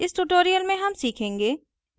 इस tutorial में हम सीखेंगे